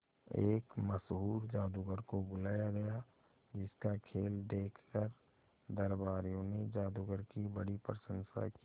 एक मशहूर जादूगर को बुलाया गया जिस का खेल देखकर दरबारियों ने जादूगर की बड़ी प्रशंसा की